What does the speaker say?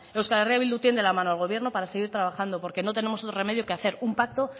euskal herria bildu tiende la mano al gobierno para seguir trabajando porque no tenemos otro remedio que hacer un pacto